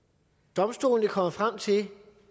domstolene kommer frem til